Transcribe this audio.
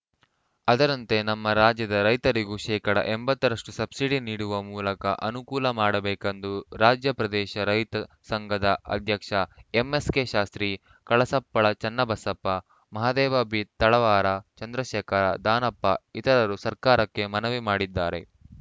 ಅದರಂತೆ ನಮ್ಮ ರಾಜ್ಯದ ರೈತರಿಗೂ ಶೇಕಡಾ ಎಂಬತ್ತು ರಷ್ಟುಸಬ್ಸಿಡಿ ನೀಡುವ ಮೂಲಕ ಅನುಕೂಲ ಮಾಡಿಕೊಡಬೇಕೆಂದು ರಾಜ್ಯ ಪ್ರದೇಶ ರೈತ ಸಂಘದ ಅಧ್ಯಕ್ಷ ಎಂಎಸ್‌ಕೆ ಶಾಸ್ತ್ರಿ ಕಳಸಪ್ಪಳ ಚನ್ನಬಸಪ್ಪ ಮಹದೇವಪ್ಪ ಬಿತಳವಾರ ಚಂದ್ರಶೇಖರ ದಾನಪ್ಪ ಇತರರು ಸರ್ಕಾರಕ್ಕೆ ಮನವಿ ಮಾಡಿದ್ದಾರೆ